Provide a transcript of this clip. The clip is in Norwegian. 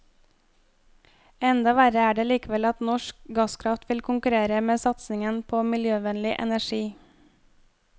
Enda verre er det likevel at norsk gasskraft vil konkurrere med satsingen på miljøvennlig energi.